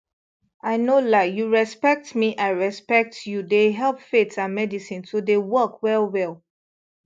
i no lie you respect me i respect you dey help faith and medicine to dey work well well